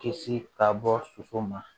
Kisi ka bɔ soso ma